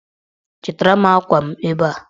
Chịtara m akwa m ebe a!